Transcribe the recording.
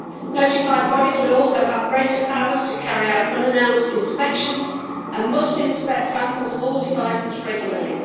Notified bodies will also have greater powers to carry out unannounced inspections and must inspect samples of all devices regularly.